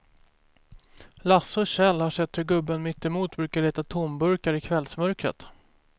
Lasse och Kjell har sett hur gubben mittemot brukar leta tomburkar i kvällsmörkret.